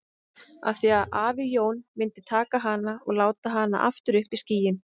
Af því að afi Jón myndi taka hana og láta hana aftur upp í skýin.